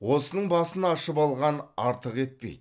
осының басын ашып алған артық етпейді